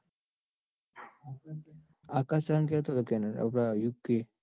આકાશીયન જ્યો તો કેનેડા આ યુકે.